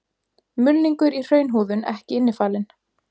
Mulningur í hraunhúðun ekki innifalinn.